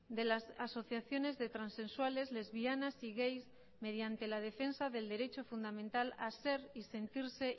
de las asociaciones de transexuales lesbianas y gays mediante la defensa del derecho fundamental a ser y sentirse